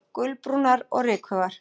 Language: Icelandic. Gulbrúnar og rykugar.